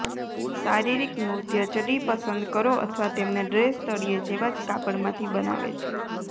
શારીરિક નૃત્ય ચડ્ડી પસંદ કરો અથવા તેમને ડ્રેસ તળિયે જેવા જ કાપડ માંથી બનાવે છે